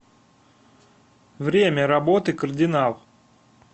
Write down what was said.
время работы кардинал